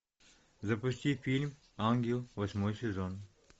запусти фильм ангел восьмой сезон